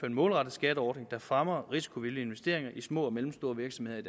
en målrettet skatteordning der fremmer risikovillige investeringer i små og mellemstore virksomheder i